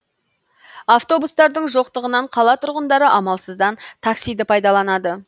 автобустардың жоқтығынан қала тұрғындары амалсыздан таксиды пайдаланады